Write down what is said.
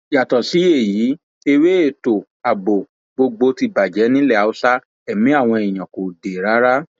yàtọ sí èyí ewé ètò ààbò gbogbo ti bàjẹ nílẹ haúsá ẹmí àwọn èèyàn kò dé rárá